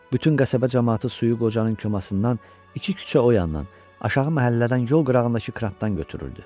Bütün qəsəbə camaatı suyu qocanın komasından, iki küçə o yandan, aşağı məhəllələrdən yol qırağındakı krantdan götürürdü.